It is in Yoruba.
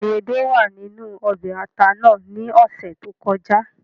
Béèni edé wàa ninu ọbè ata nàá ni ọsẹ to kọja